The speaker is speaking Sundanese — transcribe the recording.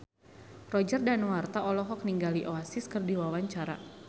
Roger Danuarta olohok ningali Oasis keur diwawancara